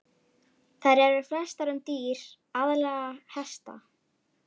Þær eru flestar um dýr, aðallega hesta.